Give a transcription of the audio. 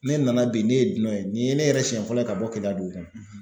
Ne nana bi ne ye dunan ye nin ye ne yɛrɛ siyɛn fɔlɔ ye ka bɔ Keleya dugu kɔnɔ.